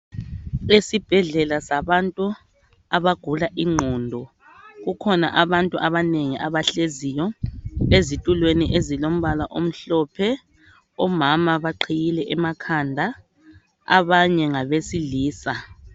Esibhedlela sabantu abagula ingqondo kukhona abantu abanengi abahleziyo ezitulweni ezilombala omhlophe omama baqhiyile emakhanda abanye ngabesilisa